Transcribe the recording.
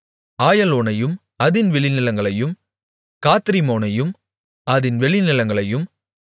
ஆயலோனையும் அதின் வெளிநிலங்களையும் காத்ரிம்மோனையும் அதின் வெளிநிலங்களையும்